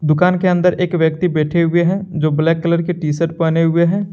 दुकान के अंदर एक व्यक्ति बैठे हुए हैं जो ब्लैक कलर के टी शर्ट पहने हुए हैं।